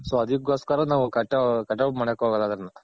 so ಅದ್ಕೊಸ್ಕರ ನಾವ್ ಮಾಡಕ್ ಹೋಗಲ್ಲ ಅದನ್ನ.